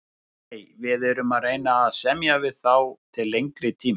Nei, við erum að reyna að semja við þá til lengri tíma.